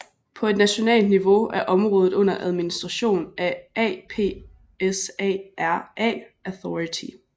På et nationalt niveau er området under administration af APSARA Authority